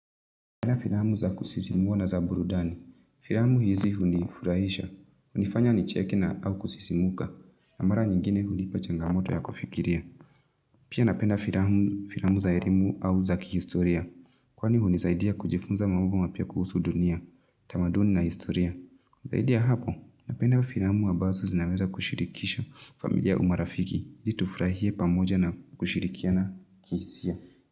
Napenda filamu za kusisimua na za burudani, firamu hizi hunifurahisha, hunifanya nicheke na au kusisimuka, na mara nyingine hunipa changamoto ya kufikiria. Pia napenda firamu za erimu au za kihistoria, kwani hunisaidia kujifunza mambo mapya kuhusu dunia, tamaduni na historia. Zaidi ya hapo, napenda firamu ambazo zinaweza kushirikisha familia au marafiki, ili tufurahie pamoja na kushirikiana kihisia.